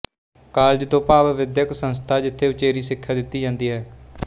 college ਤੋਂ ਭਾਵ ਵਿਦਿਅਕ ਸੰਸਥਾ ਜਿਥੇ ਉਚੇਰੀ ਸਿੱਖਿਆ ਦਿੱਤੀ ਜਾਂਦੀ ਹੈ